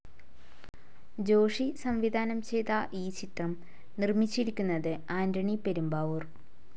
ജോഷി സംവിധാനം ചെയ്ത ഈ ചിത്രം നിർമ്മിച്ചിരിക്കുന്നത് ആൻ്റണി പെരുമ്പാവൂർ.